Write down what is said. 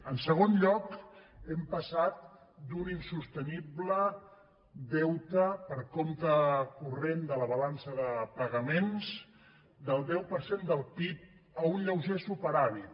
en segon lloc hem passat d’un insostenible deute per compte corrent de la balança de pagaments del deu per cent del pib a un lleuger superàvit